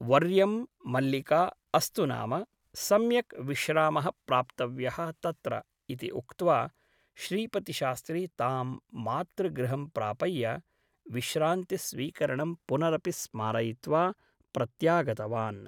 व र्यं मल्लिका अस्तु नाम सम्यक् विश्रामः प्राप्तव्यः तत्र ' इति उक्त्वा श्रीपतिशास्त्री तां मातृगृहं प्रापय्य विश्रान्तिस्वीकरणं पुनरपि स्मारयित्वा प्रत्यागतवान् ।